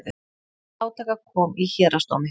Til átaka kom í héraðsdómi